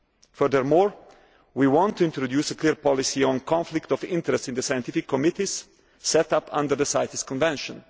Furthermore, we want to introduce a clear policy on conflict of interest in the scientific committees set up under the CITES Convention.